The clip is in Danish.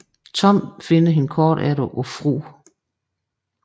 Tom finder hende kort efter på Fru